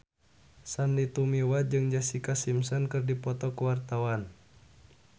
Sandy Tumiwa jeung Jessica Simpson keur dipoto ku wartawan